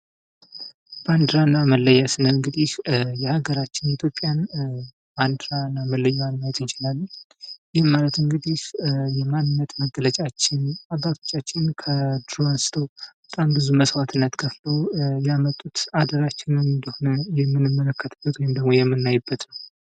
ባንዲራ እና መለያ ስንል እንግዲህ የሀገራችን ኢትዮጵያን ባንዲራ እና መለዮዋን ማየት እንችላለን ። ይህም ማለት እንግዲህ የማንነት መገለጫችን ፣ አባቶቻችን ከድሮ አንስቶ በጣም ብዙ መስዋዕትነት ከፍለው ያመጡት አደራችንም እንደሆነ የምንመለከትበት ወይም ደግሞ የምናይበት ነው ።